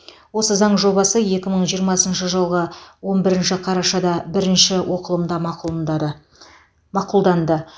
осы заң жобасы екі мың жиырмасыншы жылғы он бірінші қарашада бірінші оқылымда мақұлындады мақұлданды